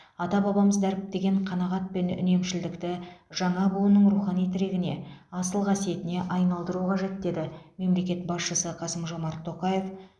ата бабамыз дәріптеген қанағат пен үнемшілдікті жаңа буынның рухани тірегіне асыл қасиетіне айналдыру қажет деді мемлекет басшысы қасым жомарт тоқаев